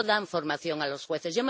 No dan formación a los jueces.